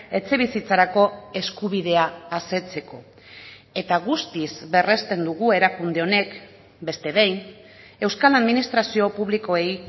etxebizitzarako eskubidea asetzeko eta guztiz berresten dugu erakunde honek beste behin euskal administrazio publikoei